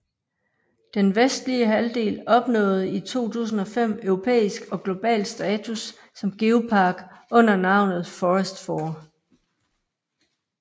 Den vestlige halvdel opnåede i 2005 europæisk og global status som geopark under navnet Fforest Fawr